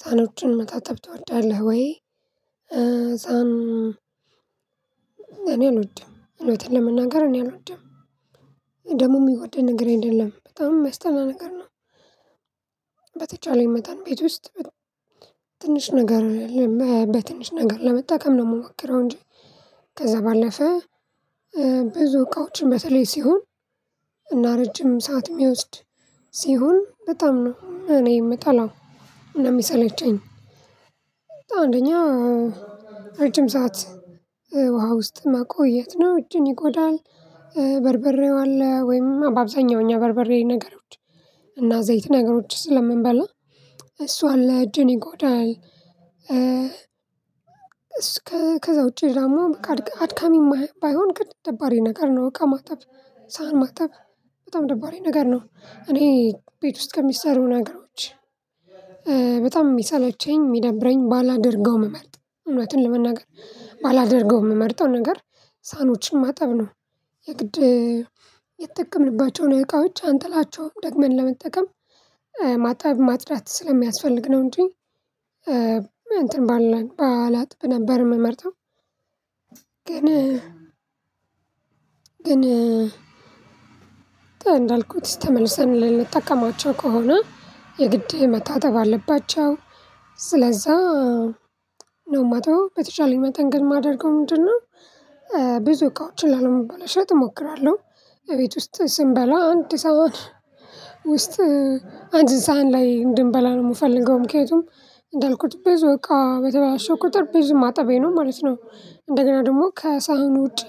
ሳህኖችን ማጣጠብ ትወዳለህ ወይ? ሳህን አልወድም። እውነቱን ለመናገር እኔ አልወድም። ደሞ የሚወደድ ነገር አይደለም። በጣም የሚያስጠላ ነገር ነው። በተቻለኝ መታን ቤት ውስጥ ትንሽ ነገር በትንሽ ነገር ለመጠቀም ነው የምሞክረው እንጂ ከዛ ባለፈ ብዙ እቃዎችን በተለይ ሲሆን እና ረጅም ሰዓት የሚወስድ ሲሆን በጣም ነው እኔ የምጠላው እና የሚሰለቸኝ። አንደኛ ረጅም ሰዓት ውሃ ውስጥ መቆየት ነው እጅን ይጎዳል በርበሬው አለ ወይም አብዛኛው እኛ በርበሬ ነገሮች እና ዘይት ነገሮች ስለምንበላ እሱ አለ እጅን ይጎዳል። እስከ ከዛ ውጪ ደግሞ በቃ አድካሚም ባይሆን ግን ደባሪ ነገር ነው እቃ ማጠብ። ሳህን ማጠብ በጣም ደባሪ ነገር ነው። እኔ ቤት ውስጥ ከሚሰሩ ነገሮች በጣም የሚሰለቸኝ የሚደብረኝ ባላደርገው የምመርጠው እውነትን ለመናገር ባላደርገው የምመርጠው ነገር ሳህኖችን ማጠብ ነው። የግድ የተጠቀምንባቸውን እቃዎች አንጥላቸውም። ደግመን ለመጠቀም ማጠብ ማጽዳት ስለሚያስፈልግ ነው እንጂ እንትን ባልል ባላጥብ ነበር የምመርጠው ግን እንዳልኩት ተመልሰን ልንጠቀማቸው ከሆነ የግድ መታጠብ አለባቸው። ስለዛ ነው የማጥበው። በተቻለኝ መጠን ግን የማደርገው ምንድነው ብዙ እቃዎችን ላለማበላሸት እሞክራለሁ። እቤት ውስጥ ስንበላ አንድ ሰሃን ውስጥ አንድ ሰሃን ላይ እንድንበላ ነው የምፈልገው። ምክንያቱም እንዳልኩት ብዙ በቃ በተበላሸ ቁጥር ብዙ ማጠቤ ነው ማለት ነው። እንደገና ደግሞ ከሳህኑ ውጪ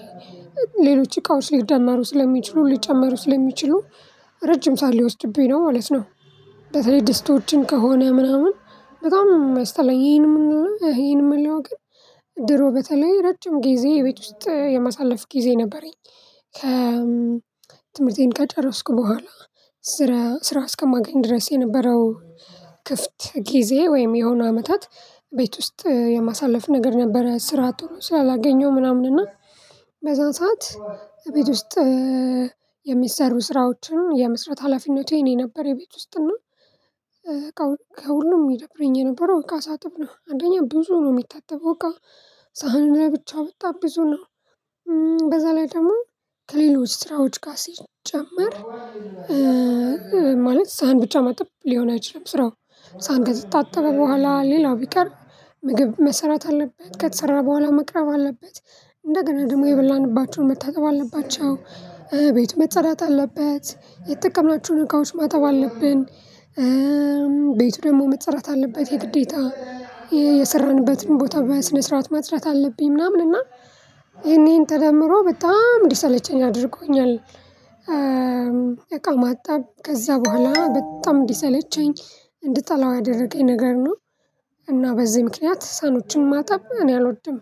ሌሎች እቃዎች ሊደመሩ ስለሚችሉ ሊጨመሩ ስለሚችሉ ረጅም ሰዓት ሊወስድብኝ ነው ማለት ነው። በተለይ ድስቶችን ከሆነ ምናምን በጣም ነው የሚያስጠላኝ። ይሄን የምለው ግን ድሮ በተለይ ረጅም ጊዜ ቤት ውስጥ የማሳለፍ ጊዜ ነበረኝ። ከ ትምህርቴን ከጨረስኩ በኋላ ስራ ስራ እስከማገኝ ድረስ የነበረው ክፍት ጊዜ ወይም የሆኑ አመታት ቤት ውስጥ የማሳለፍ ነገር ነበረ። ስራ ቶሎ ስላላገኘው ምናምን እና በዛን ሰዓት እቤት ውስጥ ስራዎችን የመስራት ሀላፊነቱ የኔ ነበር የቤት ውስጥ እና ከሁሉም ይደብረኝ የነበረው እቃ ሳጥብ ነው። አንደኛ ብዙ ነው የሚታጠበው እቃ። ሳህን ብቻ በጣም ብዙ ነው። በዛ ላይ ደግሞ ከሌሎች ስራዎች ጋር ሲጨመር ማለት ሳህን ብቻ ማጠብ ሊሆን አይችልም ስራው ሳህን ከተጣጣበ በኋላ ሌላው ቢቀር ምግብ መሰራት አለበት። ከተሰራ በኋላ መቅረብ አለበት። እንደገና ደግሞ የበላንባቸውን መታጠብ አለባቸው። ቤቱ መጸዳት አለበት። የተጠቀምናቸውን እቃዎች ማጠብ አለብን ቤቱ ደግሞ መጸዳት አለበት የግዴታ የሰራንበትን ቦታ በስነ ስርዓት ማጽዳት አለብኝ ምናምን እና ይሄን ይሄን ተደምሮ በጣም እንዲሰለቸኝ አድርጎኛል አቃ ማጠብ ከዛ በኋላ በጣም እንዲሰለቸኝ እንድጠላው ያደረገኝ ነገር ነው። እና በዚህ ምክንያት ሳህኖችን ማጠብ እኔ አልወድም።